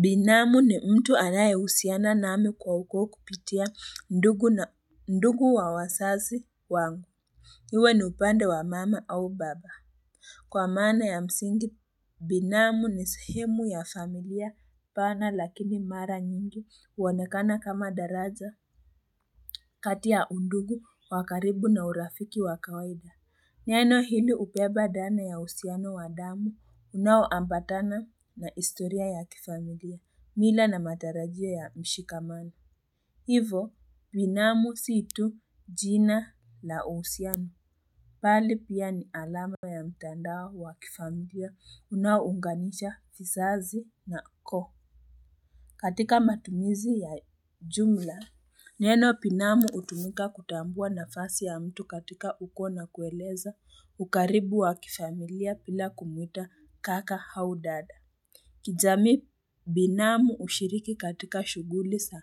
Binamu ni mtu anaye usiana nami kwa ukoo kupitia ndugu na ndugu wa wasazi wangu iwe ni upande wa mama au baba Kwa maana ya msingi binamu ni sehemu ya familia pana lakini mara nyingi uwonekana kama daraja kati ya undugu wakaribu na urafiki wa kawaida Neno hili upeba dana ya usiano wa damu unawo ambatana na istoria ya kifamilia, mila na matarajio ya mshikamani. Hivo, binamu si tu jina la usiano. Pali pia ni alama ya mtandao wa kifamilia unawo unganisha visazi na ukoo. Katika matumizi ya jumla, neno pinamu utumika kutambua nafasi ya mtu katika ukoa na kueleza ukaribu wa kifamilia pila kumuita kaka au dada. Kijamii binamu ushiriki katika shuguli sa